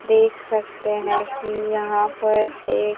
देख सकते हैं कि यहां पर एक--